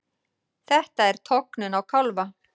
Þetta er tognun á kálfa.